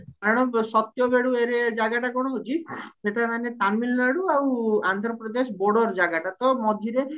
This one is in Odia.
କାରଣ ସତ୍ୟଭେଡୁ ଏରି ଜାଗଟା କଣ ହଉଚି ସେଟା ମାନେ ତାମିଲନାଡୁ ଆଉ ଆନ୍ଧ୍ରପ୍ରଦେଶ border ଜାଗାଟା ତ ମଝିରେ